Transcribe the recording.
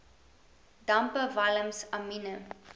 dampe walms amiene